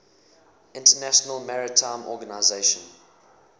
international maritime organization